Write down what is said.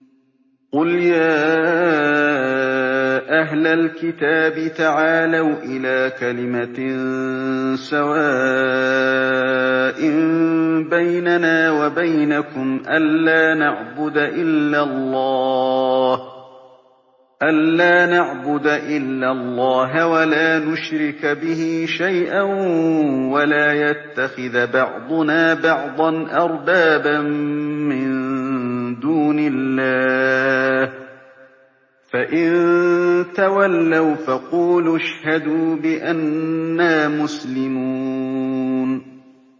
قُلْ يَا أَهْلَ الْكِتَابِ تَعَالَوْا إِلَىٰ كَلِمَةٍ سَوَاءٍ بَيْنَنَا وَبَيْنَكُمْ أَلَّا نَعْبُدَ إِلَّا اللَّهَ وَلَا نُشْرِكَ بِهِ شَيْئًا وَلَا يَتَّخِذَ بَعْضُنَا بَعْضًا أَرْبَابًا مِّن دُونِ اللَّهِ ۚ فَإِن تَوَلَّوْا فَقُولُوا اشْهَدُوا بِأَنَّا مُسْلِمُونَ